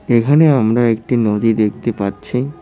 এখানে আমরা একটি নদী দেখতে পাচ্ছি।